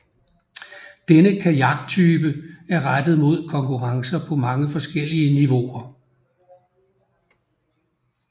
Denne kajaktype er rettet mod konkurrencer på mange forskellige niveauer